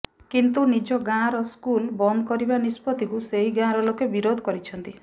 କିନ୍ତୁ ନିଜ ଗାଁର ସ୍କୁଲ ବନ୍ଦ କରିବା ନିଷ୍ପତ୍ତିକୁ ସେହି ଗାଁର ଲୋକେ ବିରୋଧ କରିଛନ୍ତି